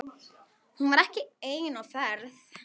Hún var ekki ein á ferð.